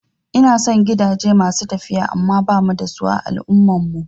Ina son gidaje masu tafiya amma bamu da su a al'ummar mu